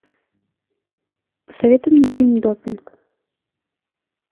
посоветуй мне фильм допинг